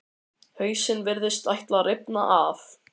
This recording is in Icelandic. Hausinn virtist ætla að rifna af.